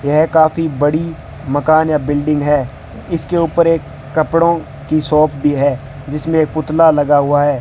यह काफी बड़ी मकान या बिल्डिंग है इसके ऊपर एक कपड़ों की शॉप भी है जिसमें पुतला लगा हुआ है।